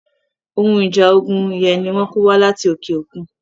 Ohun ìjà ogun yẹn ni wọ́n kó wá láti òkè okun.